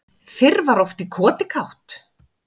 Fyrr var oft í koti kátt